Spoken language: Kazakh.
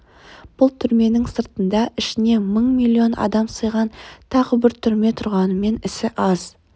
бұл түрменің сыртында ішіне мың-миллион адам сыйған тағы бір түрме тұрғанымен ісі аз